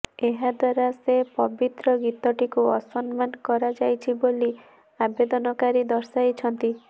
ଏହାଦ୍ୱାରା ସେ ପବିତ୍ର ଗୀତଟିକୁ ଅସମ୍ମାନ କରାଯାଇଛି ବୋଲି ଆବେଦନକାରୀ ଦର୍ଶାଇଛନ୍ତି